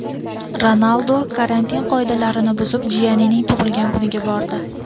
Ronaldu karantin qoidalarini buzib jiyanining tug‘ilgan kuniga bordi.